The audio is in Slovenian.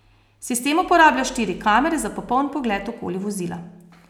Sistem uporablja štiri kamere za popoln pogled okoli vozila.